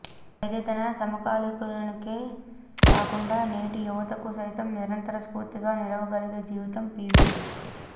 అయితే తన సమకాలీనులకే కాకుండా నేటి యువతకు సైతం నిరంతర స్ఫూర్తిగా నిలవగలిగే జీవితం పీవీది